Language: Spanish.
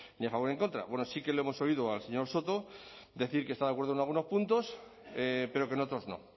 ni a favor ni en contra bueno sí que le hemos oído al señor soto decir que está de acuerdo en algunos puntos pero que en otros no